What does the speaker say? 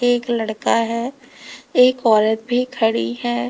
एक लड़का है एक औरत भी खड़ी है।